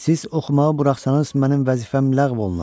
Siz oxumağı buraxsanız mənim vəzifəm ləğv olunar.